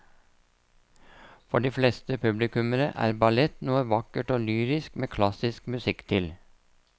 For de fleste publikummere er ballett noe vakkert og lyrisk med klassisk musikk til.